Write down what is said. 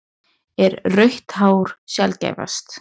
Er rautt hár sjaldgæfast?